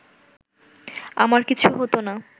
আমার কিছু হতো না